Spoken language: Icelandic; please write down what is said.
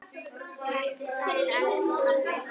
Vertu sæll, elsku pabbi.